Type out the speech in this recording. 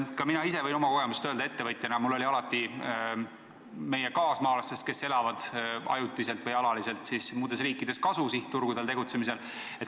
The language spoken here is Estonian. Ka mina võin öelda oma kogemusest ettevõtjana, et mul oli alati sihtturgudel tegutsemisel kasu meie kaasmaalastest, kes elavad ajutiselt või alaliselt muudes riikides.